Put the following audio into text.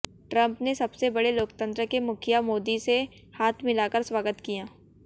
Trump ने सबसे बड़े लोकतंत्र के मुखिया मोदी से हाथ मिलाकर स्वागत किया